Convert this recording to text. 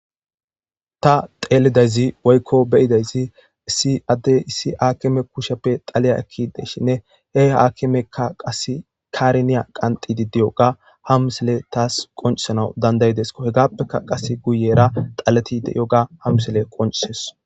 Ta teelidayzi woykko beyidayssi isi adde issi haakime kusheppe xaliya ekki deshinne he haakimekka qas kariniya qantidi diyoga hamsele taas qoncisanau dandayidesko hegappeka qase guyera xaletide yyoga hamsile qoncises.